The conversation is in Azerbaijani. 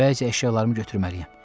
Bəzi əşyalarımı götürməliyəm.